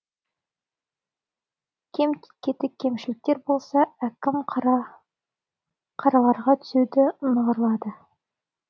кем кетік кемшіліктер болса әкім қараларға түзеуді нығырлады